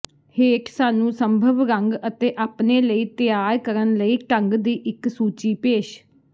ਹੇਠ ਸਾਨੂੰ ਸੰਭਵ ਰੰਗ ਅਤੇ ਆਪਣੇ ਲਈ ਤਿਆਰ ਕਰਨ ਲਈ ਢੰਗ ਦੀ ਇੱਕ ਸੂਚੀ ਪੇਸ਼